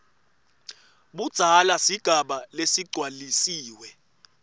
budzala sigaba lesigcwalisiwe